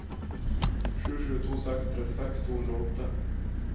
sju sju to seks trettiseks to hundre og åtte